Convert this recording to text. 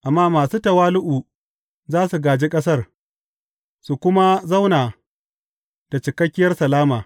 Amma masu tawali’u za su gāji ƙasar su kuma zauna da cikakkiyar salama.